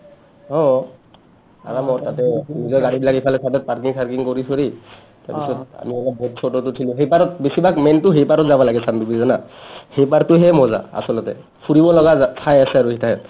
অ আৰামত তাতে নিজৰ গাড়ীবিলাক ইফালৰ side ত parking চাৰকিং কৰি চৰি তাৰপিছত আমি অলপ boat চ'টৌত উঠিলো সেইপাৰত বেছিভাগ main টো সেইপাৰত যাবা লাগে চানডুবি জানা সেইপাৰটোহে মজ্জা আচলতে ফুৰিব লগা জা ঠাই আছে আৰু